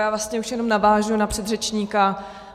Já vlastně už jenom navážu na předřečníka.